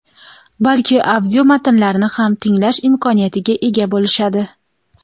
balki audio matnlarni ham tinglash imkoniyatiga ega bo‘lishadi.